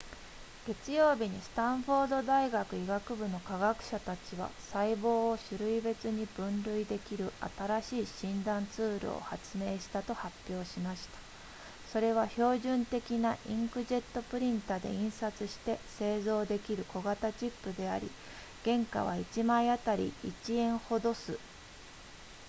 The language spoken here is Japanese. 月曜日にスタンフォード大学医学部の科学者たちは細胞を種類別に分類できる新しい診断ツールを発明したと発表しましたそれは標準的なインクジェットプリンタで印刷して製造できる小型チップであり原価は1枚あたり1円ほどす